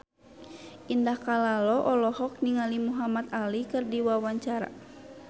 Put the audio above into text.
Indah Kalalo olohok ningali Muhamad Ali keur diwawancara